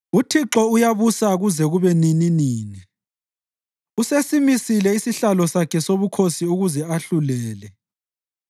UThixo uyabusa kuze kube nininini; usesimisile isihlalo sakhe sobukhosi ukuze ahlulele.